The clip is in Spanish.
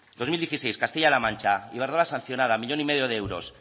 dos mil dieciséis castilla la mancha iberdrola sancionada uno coma cinco millón de euros